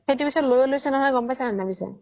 সেইতো পিছে লইছে গ্'ম পাইছা নে নাই পিছে